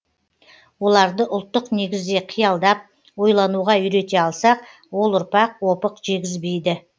оларды ұлттық негізде қиялдап ойлануға үйрете алсақ ол ұрпақ опық жегізбейді